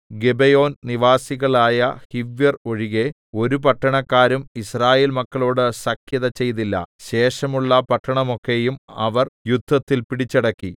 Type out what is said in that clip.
ഗിബെയോൻ നിവാസികളായ ഹിവ്യർ ഒഴികെ ഒരു പട്ടണക്കാരും യിസ്രായേൽ മക്കളോട് സഖ്യത ചെയ്തില്ല ശേഷമുള്ള പട്ടണമൊക്കെയും അവർ യുദ്ധത്തിൽ പിടിച്ചടക്കി